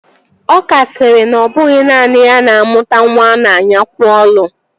Ọka sịrị na ọ bụghị naanị ya na-amụta nwa a na-anyakwo olu